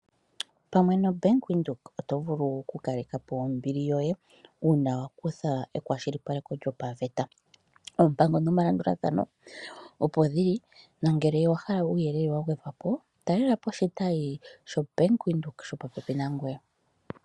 Pamwe nombaanga yaVenduka oto vulu okukalekapo ombili yoye uuna wakutha ekwashilipaleko lyopaveta . Oompango nomalandulathano opo dhili nongele owa hala uuyelele wa gwedhwapo talela po oshitayi shombaanga ya Venduka shopopepi nangoye.